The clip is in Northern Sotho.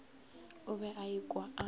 o be a ikwa a